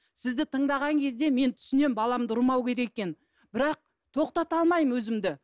сізді тыңдаған кезде мен түсінемін баламды ұрмау керек екенін бірақ тоқтата алмаймын өзімді